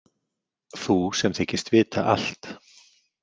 Þú sem þykist vita allt.